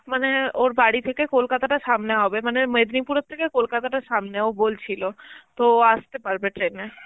মানে ওর বাড়ি থেকে কলকাতাতা সামনে হবে, মানে মেদনীপুরের থেকে কলকাতা তা সামনে, ও বলছিল, তো আসতে পারবে train এ.